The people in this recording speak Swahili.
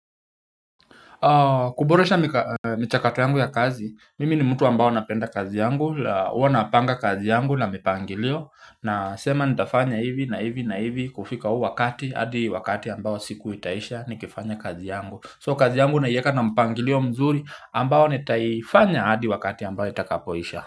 Kuboresha michakato yangu ya kazi, mimi ni mtu ambao napenda kazi yangu, uwa napanga kazi yangu na mipangilio Nasema nitafanya hivi na hivi na hivi kufika huu wakati, hadi wakati ambao siku itaisha nikifanya kazi yangu So kazi yangu naieka na mpangilio mzuri ambao nitaifanya hadi wakati ambao itakapoisha.